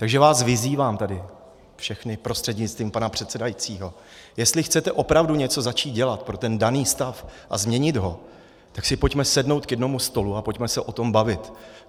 Takže vás vyzývám tady všechny prostřednictvím pana předsedajícího, jestli chcete opravdu něco začít dělat pro ten daný stav a změnit ho, tak si pojďme sednout k jednomu stolu a pojďme se o tom bavit.